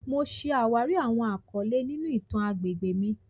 Mo ṣe awari awọn akọle ninu itan agbegbe mi.